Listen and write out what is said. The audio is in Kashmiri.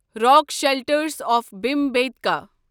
rock shelters of Bhimbetka